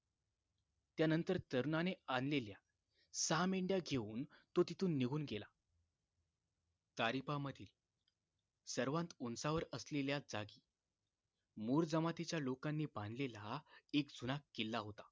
त्यानंतर तरुणाने आणलेल्या सहा मेंढ्या घेऊन तो तिथून निघून गेला तारिपामधील सर्वात उंचावर असलेल्या जागी मूर जमातीच्या लोकांनी बांधलेला एक जुना किल्ला होता